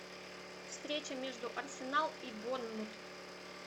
встреча между арсенал и борнмут